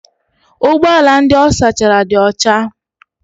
Ụgbọ ala ndị ọ sachara dị ọcha.